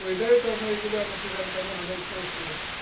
ну и до этого мы регулярно снижали таможенные пошлины